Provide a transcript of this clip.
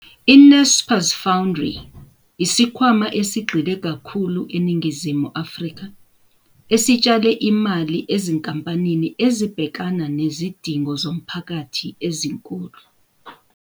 I-Naspers Foundry yisikhwama esigxile kakhulu eNingizimu Afrika esitshale imali ezinkampanini "ezibhekana nezidingo zomphakathi ezinkulu".